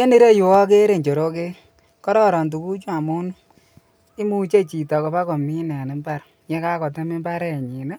En ireyu okere njorokek, kororon tukuchu amun imuche chito ibakomin en imbar yekakotem imbarenyin